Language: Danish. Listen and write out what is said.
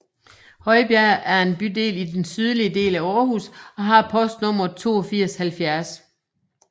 Højbjerg er en bydel i den sydlige del af Aarhus og har postnummeret 8270